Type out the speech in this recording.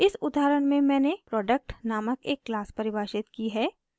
इस उदाहरण में मैंने product नामक एक क्लास परिभाषित की है